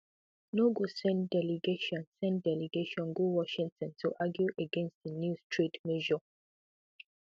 no go send delegation send delegation go washington to argue against di new trade measure